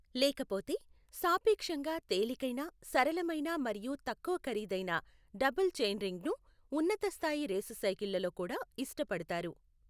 లేకపోతే, సాపేక్షంగా తేలికైన, సరళమైన మరియు తక్కువ ఖరీదైన డబుల్ చెయిన్రింగ్ను, ఉన్నత స్థాయి రేసు సైకిళ్ళలో కూడా, ఇష్టపడతారు.